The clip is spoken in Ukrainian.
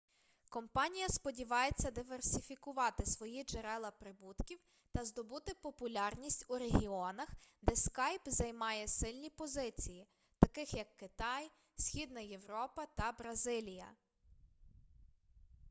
компанія сподівається диверсифікувати свої джерела прибутків та здобути популярність у регіонах де скайп займає сильні позиції таких як китай східна європа та бразилія